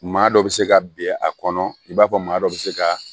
Maa dɔ bɛ se ka bin a kɔnɔ i b'a fɔ maa dɔ bɛ se ka